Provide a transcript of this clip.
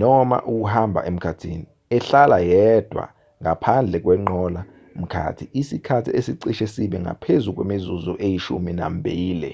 noma ukuhamba emkhathini ehlala yedwa ngaphandle kwenqola-mkhathi isikhathi esicishe sibe ngaphezu kwemizuzu eyishumi nambili